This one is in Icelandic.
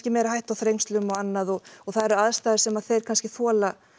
meiri hætta á þrengslum og annað og það eru aðstæður sem þeir þola